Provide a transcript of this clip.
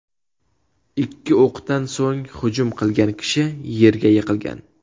Ikki o‘qdan so‘ng hujum qilgan kishi yerga yiqilgan.